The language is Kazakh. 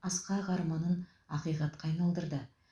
асқақ арманын ақиқатқа айналдырды